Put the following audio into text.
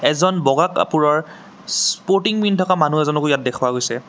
এজন বগা কাপোৰৰ স্পোৰ্টিং পিন্ধি থকা মানুহ এজনকো ইয়াত দেখুওৱা গৈছে।